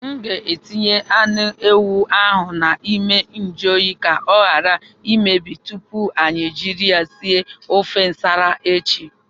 M ga-etinye anụ ewu ahụ n'ime njụ oyi ka ọ ghara imebi tupu anyị ejiri ya sie ofe Nsala echi.